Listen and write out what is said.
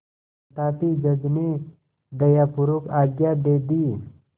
तथापि जज ने दयापूर्वक आज्ञा दे दी